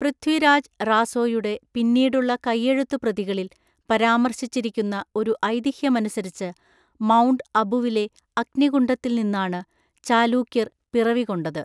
പൃഥ്വിരാജ് റാസോയുടെ പിന്നീടുള്ള കയ്യെഴുത്തുപ്രതികളിൽ പരാമർശിച്ചിരിക്കുന്ന ഒരു ഐതിഹ്യമനുസരിച്ച് മൗണ്ട് അബുവിലെ അഗ്നികുണ്ഡത്തിൽ നിന്നാണ് ചാലൂക്യർ പിറവികൊണ്ടത്.